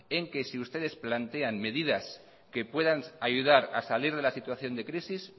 en que si ustedes plantean medidas que puedan ayudar a salir de la situación de crisis